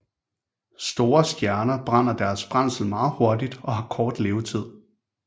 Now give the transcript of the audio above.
Store stjerner brænder deres brændsel meget hurtigt og har kort levetid